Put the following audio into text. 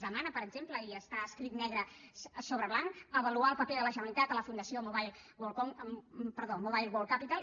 demana per exemple i està escrit negre sobre blanc avaluar el paper de la generalitat a la fundació mobile world capital